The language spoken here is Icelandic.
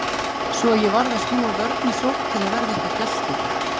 Svo að ég varð að snúa vörn í sókn til að verða ekki að gjalti.